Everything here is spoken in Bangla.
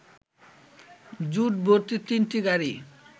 ঝুট ভর্তি তিনটি গাড়ি